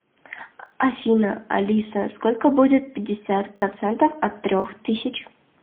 афина алиса сколько будет пятьдесят процентов от трех тысяч